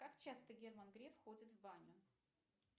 как часто герман греф ходит в баню